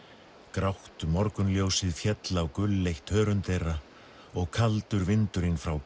grátt morgunljósið féll á gulleitt hörund þeirra og kaldur vindurinn frá